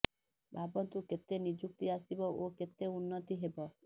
ଭାବନ୍ତୁ କେତେ ନିଯୁକ୍ତି ଆସିବ ଓ କେତେ ଉନ୍ନତି ହେବ